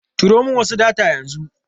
Turo min wasu data yanzu.